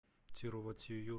тирувоттиюр